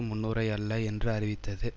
முன்னுரை அல்ல என்று அறிவித்தது